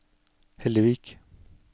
Hellevik